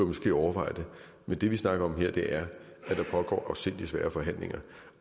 måske overveje det men det vi snakker om her er at der pågår nogle afsindigt svære forhandlinger